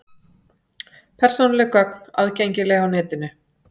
Persónuleg gögn aðgengileg á netinu